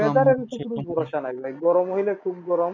weather এর কিছু ভরসা নেই গরম হইলে খুব গরম